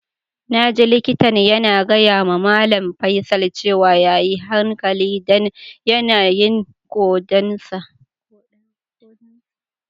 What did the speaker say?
Na ji likitan yana gaya ma Mallam Faisal cewa ya yi hankali dan yanayin kodan sa.